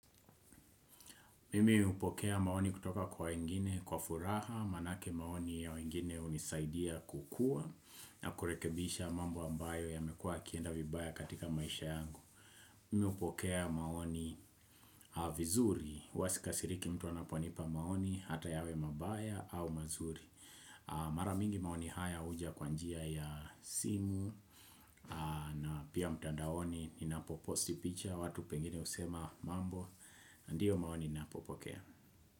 Mimi hupokea maoni kutoka kwa wengine, kwa furaha, maaake maoni ya wengine hunisaidia kukua na kurekebisha mambo ambayo yamekua yakienda vibaya katika maisha yangu Mimi hupokea maoni vizuri, huwasika siriki mtu anaponipa maoni, hata yawe mabaya au mazuri Maramingi maoni haya huja kwa njia ya simu na pia mtandaoni ni napoposti picha watu pengine husema mambo, ndiyo maoni nipopokea.